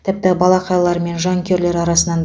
тіпті балақайлар мен жанкүйерлер арасынан